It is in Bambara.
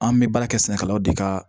An bɛ baara kɛ sɛnɛkɛlaw de ka